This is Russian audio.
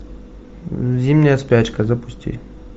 зимняя спячка запусти